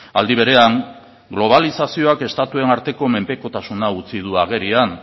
aldi berean globalizazioak estatuen arteko menpekotasuna utzi du agerian